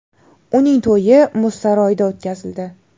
Uning to‘yi muz saroyida o‘tkazildi .